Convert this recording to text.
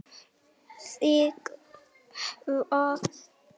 Þig hvað?